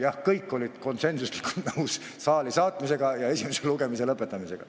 Jah, kõik olid konsensuslikult nõus saali saatmisega ja esimese lugemise lõpetamisega.